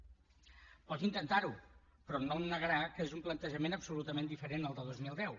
pot intentarho però no em negarà que és un plantejament absolutament diferent al de dos mil deu